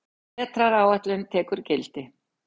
Vetraráætlun tekur gildi